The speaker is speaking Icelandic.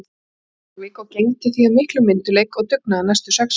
Njarðvík og gegndi því af miklum myndugleik og dugnaði næstu sex ár.